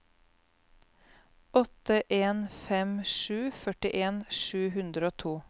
åtte en fem sju førtien sju hundre og to